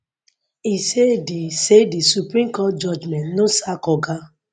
e say di say di supreme court judgment no sack oga